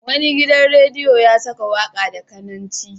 Wani gidan rediyo ya saka waka da cananci.